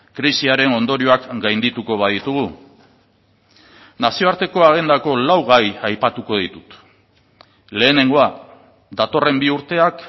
krisiaren ondorioak gaindituko baditugu nazioarteko agendako lau gai aipatuko ditut lehenengoa datorren bi urteak